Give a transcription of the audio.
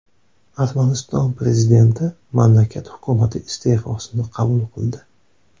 Armaniston prezidenti mamlakat hukumati iste’fosini qabul qildi.